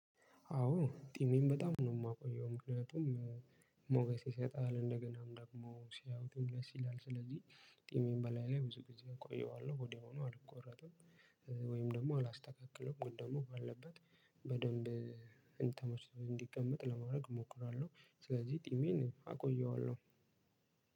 አዎ ጤናየን በጣም ነው ማቆየው ምክንያቱም አሞክሰስ ይሰጣል እንደገናም ደሞ ሲያዩትም ደስ ይላል። ስለዚ ጤናየ እላየላይ ብዙ ግዜ አቆየዋለው ሆዴንም አልቆረጥም። ወይም ደግሞ አላስተካክለውም ደግሞ ባለበት በደንብ እንትን ሆኖ እንዲቀመጥ ለማድረግ እሞክራለሁ። ስለዚህ ጢሜን አቆየዋለሁ።